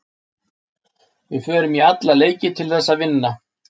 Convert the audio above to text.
Við förum í alla leiki til þess að vinna.